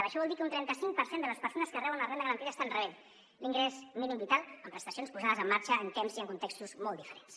això vol dir que un trenta cinc per cent de les persones que reben una renda garantida estan rebent l’ingrés mínim vital amb prestacions posades en marxa en temps i en contextos molt diferents